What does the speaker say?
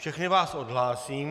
Všechny vás odhlásím.